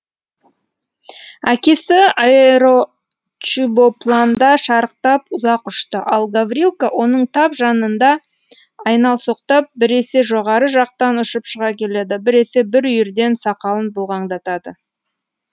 әкесі аэрочубопланда шарықтап ұзақ ұшты ал гаврилка оның тап жанында айналсоқтап біресе жоғары жақтан ұшып шыға келеді біресе бір бүйірден сақалын бұлғаңдатады